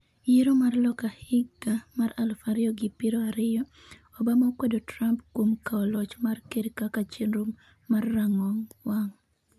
Yiero mar loka higa mar aluf ariyo gi piero ariyo : Obama okwedo Trump kuom kawo loch mar ker kaka chenro mar rang'ong wang'